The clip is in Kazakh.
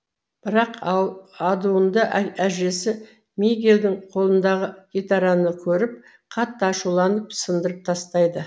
бірақ адуынды әжесі мигельдің қолындағы гитараны көріп қатты ашуланып сындырып тастайды